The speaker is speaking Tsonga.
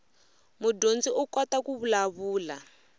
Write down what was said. mudyondzi u kota ku vulavula